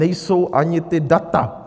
Nejsou ani ta data.